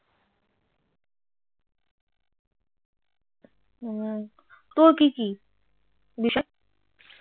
হুম তোর কি কি বিষয়?